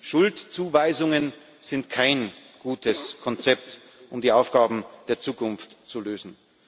Schuldzuweisungen sind kein gutes Konzept, um die Aufgaben der Zukunft zu lösen.